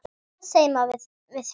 Hvað segir maður við því?